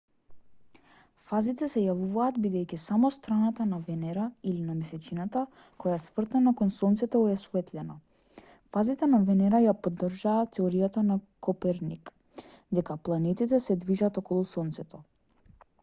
фазите се јавуваат бидејќи само страната на венера или на месечината која е свртена кон сонцето е осветлена. фазите на венера ја поддржаа теоријата на коперник дека планетите се движат околу сонцето